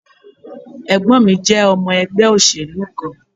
Ẹ̀gbọ́n mi jẹ́ ọmọ ẹgbẹ́ òṣèlú kan